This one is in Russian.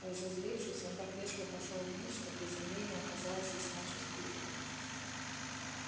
разозлившись он так резко пошёл вниз что приземление оказалось весьма чувствительным